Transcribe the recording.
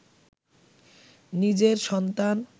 নিজের সন্তান